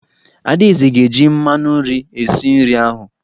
Adaeze ga-eji mmanụ nri esi nri ahụ.